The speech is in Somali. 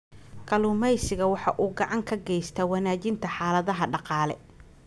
Kalluumaysigu waxa uu gacan ka geystaa wanaajinta xaaladaha dhaqaale.